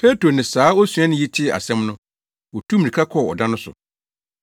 Petro ne saa osuani yi tee asɛm no, wotuu mmirika kɔɔ ɔda no so.